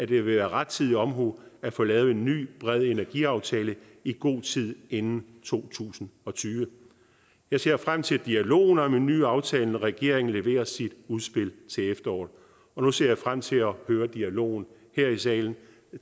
vil være rettidig omhu at få lavet en ny bred energiaftale i god tid inden to tusind og tyve jeg ser frem til dialogen om en ny aftale når regeringen leverer sit udspil til efteråret og nu ser jeg frem til at høre dialogen her i salen